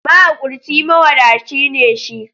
Mahaƙurci mawadaci ne shi.